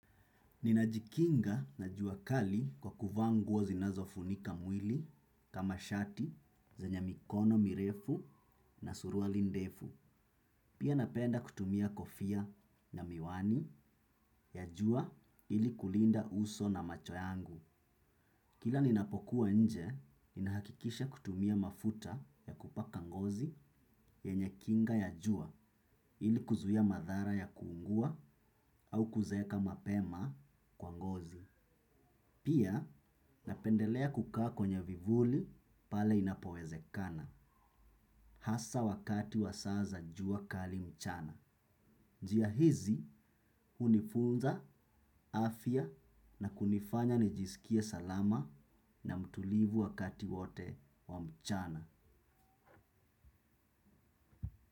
Ninajikinga na jua kali kwa kuvaa nguo zinazofunika mwili kama shati zenye mikono mirefu na suruali ndefu. Pia napenda kutumia kofia na miwani ya jua ili kulinda uso na macho yangu. Kila ninapokuwa nje, ninahakikisha kutumia mafuta ya kupaka ngozi yenye kinga ya jua ili kuzuia madhara ya kuungua au kuzeeka mapema kwa ngozi. Pia napendelea kukaa kwenye vivuli pale inapowezekana, hasa wakati wa saa za jua kali mchana. Njia hizi hunifunza afya na kunifanya nijisikie salama na mtulivu wakati wote wa mchana.